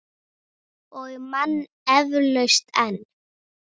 Og man eflaust enn.